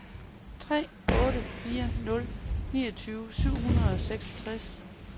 tre otte fire nul niogtyve syv hundrede og seksogtres